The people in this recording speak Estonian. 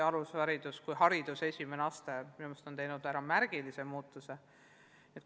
Alusharidus kui hariduse esimene aste on minu meelest läbi teinud märgatava muutuse.